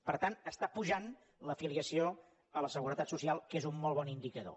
per tant està pujant l’afiliació a la seguretat social que és un molt bon indicador